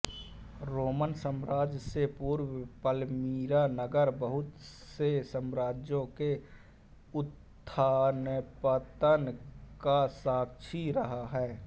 Roman साम्राज्य से पूर्व पलमीरा नगर बहुत से साम्राज्यों के उत्थानपतन का साक्षी रहा है